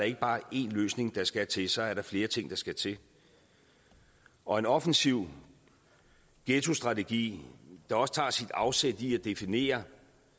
ikke bare er én løsning der skal til så er der flere ting der skal til og en offensiv ghettostrategi der også tager sit afsæt i at definere